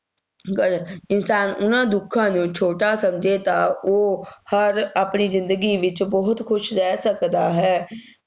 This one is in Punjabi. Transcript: ਗਰ ਇਨਸਾਨ ਨਾ ਦੁੱਖਾਂ ਨੂੰ ਛੋਟਾ ਸਮਝੇ ਤਾਂ ਉਹ ਹਰ ਆਪਣੀ ਜ਼ਿੰਦਗੀ ਵਿੱਚ ਬਹੁਤ ਖੁਸ਼ ਰਹਿ ਸਕਦਾ ਹੈ,